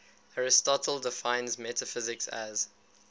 aristotle defines metaphysics as